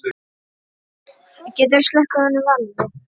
Hrólfur var sonur Helga magra.